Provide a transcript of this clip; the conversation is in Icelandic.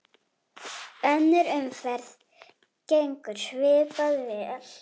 Önnur umferð gengur svipað vel.